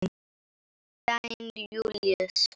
Kveðja, Júlíus.